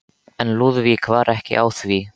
En Lúðvík var ekki á því.